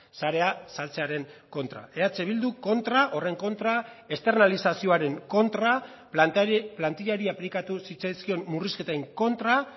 sarea saltzearen kontra eh bilduk kontra horren kontra esternalizazioaren kontra plantillari aplikatu zitzaizkion murrizketen kontra